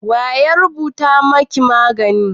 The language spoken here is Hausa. waye ya rubuta maki magani?